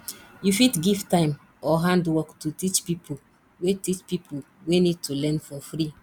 you fit give time or handwork to teach pipo wey teach pipo wey need to learn for free